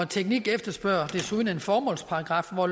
teknik efterspørger desuden en formålsparagraf hvor